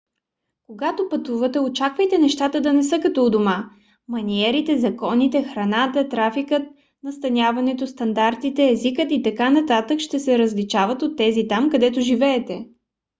когато пътувате очаквайте нещата да не са като у дома. маниерите законите храната трафикът настаняването стандартите езикът и т.н. ще се различават от тези там където живеете.